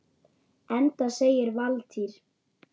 Enda segir Valtýr